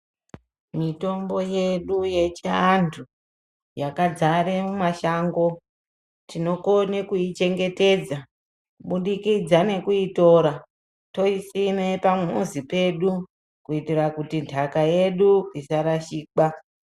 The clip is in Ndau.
Mitombo yedu yechiantu yakadzare mumashango tinokone kuichengetedza kubudikidza nekuitora toisime pamuzi pedu kuti ndaka yedu isa rashikwa.